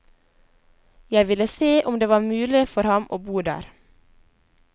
Jeg ville se om det var mulig for ham å bo der.